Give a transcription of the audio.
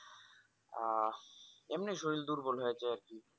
আহ এমনি শরীর দুর্বল হয়ে আছে আর।